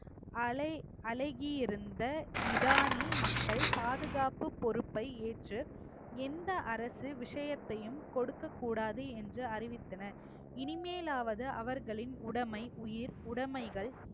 அழகி~ அழகியிருந்த மிடானி மக்கள் பாதுகாப்பு பொறுப்பை ஏற்று எந்த அரசு விஷயத்தையும் கொடுக்கக் கூடாது என்று அறிவித்தனர் இனிமேலாவது அவர்களின் உடமை, உயிர், உடைமைகள்,